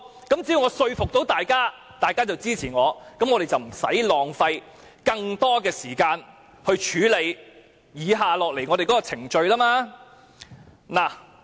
只要我可以說服大家，大家便會支持我，那麼本會便不用浪費更多的時間來處理接下來的程序。